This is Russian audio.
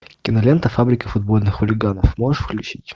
кинолента фабрика футбольных хулиганов можешь включить